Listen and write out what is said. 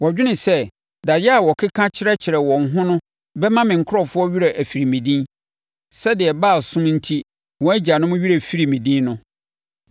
Wɔdwene sɛ daeɛ a wɔkeka kyerɛkyerɛ wɔn ho no bɛma me nkurɔfoɔ werɛ afiri me din, sɛdeɛ Baalsom enti wɔn agyanom werɛ firii me din no.